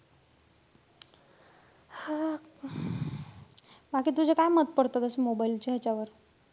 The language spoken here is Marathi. हां. बाकी तुझं काय मत पडतं तसं mobile च्या ह्याच्यावर?